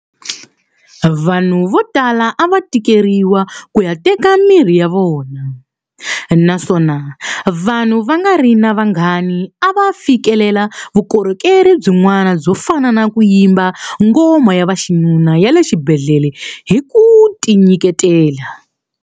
Vanhu votala a va tikeriwa ku ya teka mirhi ya vona, naswona vanhu va nga ri vangani a va fi kelela vukorhokeri byin'wana byo fana na ku yimba ngoma ya vaxinuna ya le xibedhlele hi ku tinyiketela.